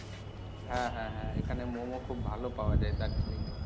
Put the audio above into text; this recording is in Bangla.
হ্যাঁ হ্যাঁ হ্যাঁ এখানে momo খুব ভালো পাওয়া যায় দার্জিলিং এ।